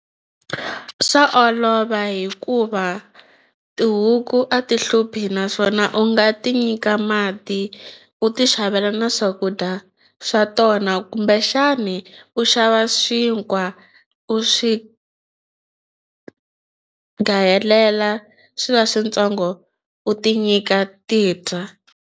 Swa olova hikuva tihuku a ti hluphi naswona u nga ti nyika mati u ti xavela na swakudya swa tona kumbexani u xava xinkwa u swi gayelela swi va swintsongo u ti nyika ti dya.